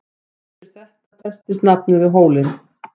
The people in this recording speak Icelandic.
En eftir þetta festist nafnið við hólinn.